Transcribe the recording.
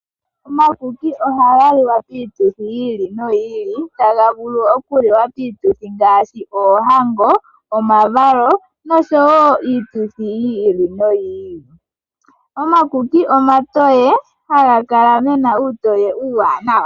Omakuki ohaga li wa piituthi yi ili noyi ili, taga vulu okuliwa piituthi ngaashi: oohango, omavalo nosho wo iituthi yi ili noyi ili. Omakuki omatoye haga kala gena uutoye uuwanawa.